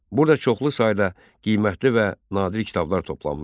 Burada çoxlu sayda qiymətli və nadir kitablar toplanmışdı.